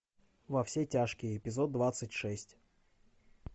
во все тяжкие эпизод двадцать шесть